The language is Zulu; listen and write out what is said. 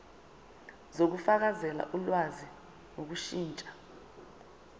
zokufakela ulwazi ngokushintsha